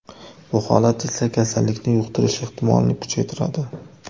Bu holat esa kasallikni yuqtirish ehtimolini kuchaytiradi.